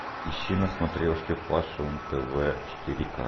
ищи на смотрешке фэшн тв четыре ка